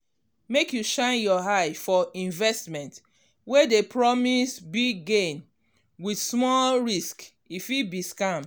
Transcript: make you shine eye for investment wey dey promise big gain with small risk e fit be scam.